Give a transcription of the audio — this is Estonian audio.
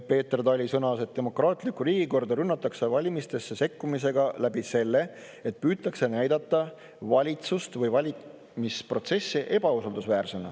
Peeter Tali sõnas, et demokraatlikku riigikorda rünnatakse valimistesse sekkumisega läbi selle, et püütakse näidata valitsust või valimisprotsessi ebausaldusväärsena.